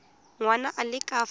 ngwana a le ka fa